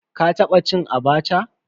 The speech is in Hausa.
Ka taba cin "Abacha"?